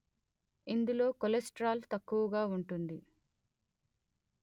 ఇందులో కొలెస్ట్రాల్ తక్కువగా ఉంటుంది